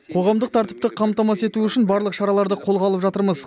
қоғамдық тәртіпті қамтамасыз ету үшін барлық шараларды қолға алып жатырмыз